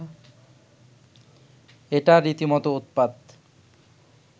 এটা রীতিমতো উৎপাত